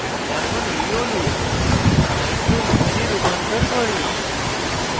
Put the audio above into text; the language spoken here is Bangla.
এখন এই অণু nitroethane nitroethane এ রূপান্তর করি